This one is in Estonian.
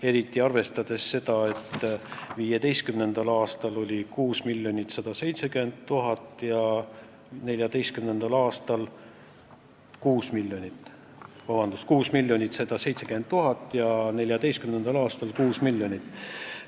Eriti arvestades seda, et 2015. aastal oli see summa 6 170 000 eurot ja 2014. aastal 6 miljonit.